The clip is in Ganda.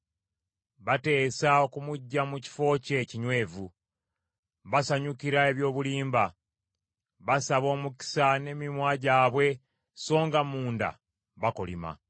Bateesa okumuggya mu kifo kye ekinywevu, basanyukira eby’obulimba. Basaba omukisa n’emimwa gyabwe so nga munda bakolima.